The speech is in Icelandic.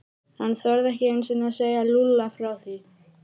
Hann þorði ekki einu sinni að segja Lúlla frá því.